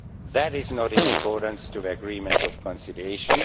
That is not in accordance to the agreement of conciliation